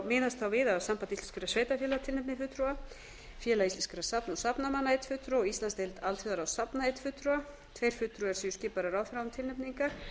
miðast þá við að samband íslenskra sveitarfélaga tilnefni einn fulltrúa félag íslenskra safna og safnmanna einn fulltrúa og íslandsdeild alþjóðaráðs safna einn fulltrúa tveir fulltrúar séu skipaðir af ráðherra án tilnefningar